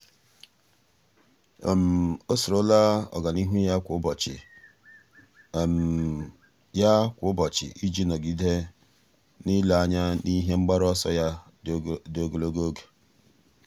ọ́ soro la ọ́gànihu ya kwa ụ́bọ̀chị̀ ya kwa ụ́bọ̀chị̀ iji nọ́gídé n’ílé anya n’ihe mgbaru ọsọ ya dị ogologo oge.